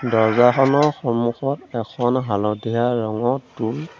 দৰ্জ্জাখনৰ সন্মুখত এখন হালধীয়া ৰঙৰ টোল --